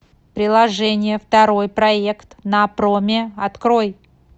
приложение второй проект на проме открой